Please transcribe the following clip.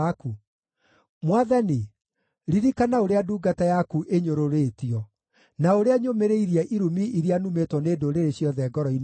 Mwathani, ririkana ũrĩa ndungata yaku ĩnyũrũrĩtio, na ũrĩa nyũmĩrĩirie irumi iria numĩtwo nĩ ndũrĩrĩ ciothe ngoro-inĩ yakwa,